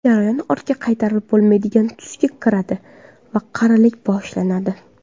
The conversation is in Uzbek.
Jarayon ortga qaytarib bo‘lmaydigan tusga kiradi va qarilik boshlanadi.